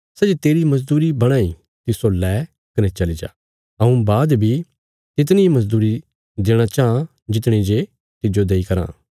सै जे तेरी मजदूरी बणां इ तिस्सो लै कने चली जा हऊँ बाद बी तितनी इ मजदूरी देणा चाँह जितणी जे तिज्जो देई कराँ